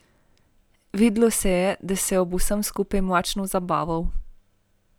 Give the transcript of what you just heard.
Videlo se je, da se je ob vsem skupaj močno zabaval.